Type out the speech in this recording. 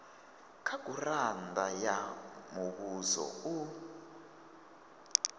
kha gurannda ya muvhuso u